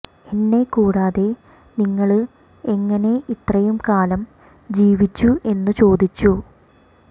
എന്നെ കൂടാതെ നിങ്ങള് എങ്ങനെ ഇത്രയും കാലം ജീവിച്ചു എന്നു ചോദിച്ചു